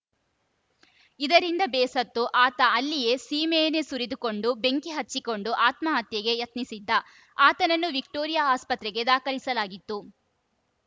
ಇದರಿಂದ ಬೇಸತ್ತು ಆತ ಅಲ್ಲಿಯೇ ಸೀಮೆಎಣ್ಣೆ ಸುರಿದುಕೊಂಡು ಬೆಂಕಿ ಹಚ್ಚಿಕೊಂಡು ಆತ್ಮಹತ್ಯೆಗೆ ಯತ್ನಿಸಿದ್ದ ಆತನನ್ನು ವಿಕ್ಟೋರಿಯಾ ಆಸ್ಪತ್ರೆಗೆ ದಾಖಲಿಸಲಾಗಿತ್ತು